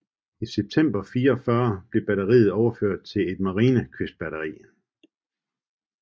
I september 1944 blev batteriet overført til et Marinekystbatteri